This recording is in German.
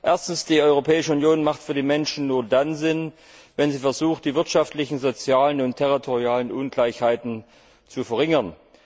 Erstens Die Europäische Union macht für die Menschen nur dann Sinn, wenn sie versucht, die wirtschaftlichen, sozialen und territorialen Ungleichgewichte zu verringern.